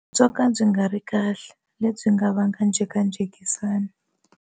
Byo ka byi nga ri kahle, lebyi nga vanga njhekanjhekisano.